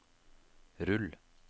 rull